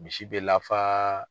Misi bɛ lafa